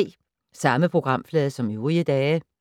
Samme programflade som øvrige dage